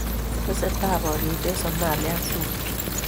Testetaa poriyet en somalia ak juba